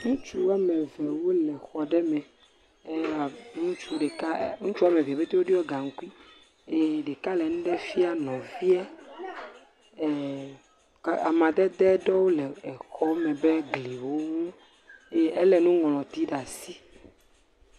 Ŋutsu woame ve wole xɔ ɖe me. Ewɔ abe, ŋutsu ɖeka, ŋutsu woame ve ƒete woɖiɔ gaŋkui eye ɖeka le nu ɖe fia nɔviɛ. ɛɛ, ka amadede ɖewo le exɔme be gliwo ŋu eye elé nuŋlɔti ɖaa si.